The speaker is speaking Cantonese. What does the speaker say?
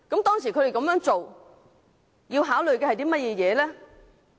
當時他們這樣做，要考慮的是甚麼？